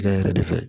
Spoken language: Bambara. yɛrɛ de fɛ